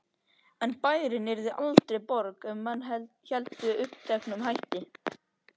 En bærinn yrði aldrei borg ef menn héldu uppteknum hætti.